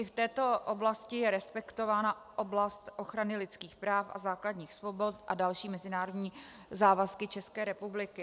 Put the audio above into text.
I v této oblasti je respektována oblast ochrany lidských práv a základních svobod a další mezinárodní závazky České republiky.